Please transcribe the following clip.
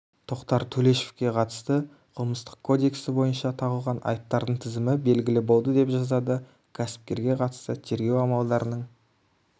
тоқтар төлешовке қылмыстық кодексі бойынша тағылған айыптардың тізімі белгілі болды деп жазады кәсіпкерге қатысты тергеу амалдарының